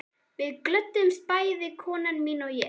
Við glöddumst bæði, kona mín og ég